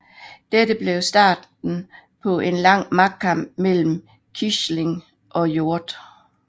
Dette blev starten på en lang magtkamp mellem Quisling og Hjort